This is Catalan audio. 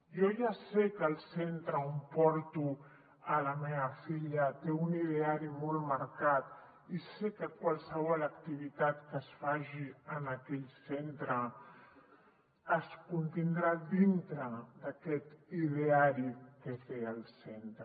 jo ja sé que el centre on porto la meva filla té un ideari molt mar·cat i sé que qualsevol activitat que es faci en aquell centre es contindrà dintre d’a·quest ideari que té el centre